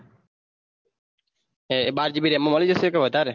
બાર GB RAM માં મળી જશે કે વધારે